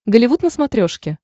голливуд на смотрешке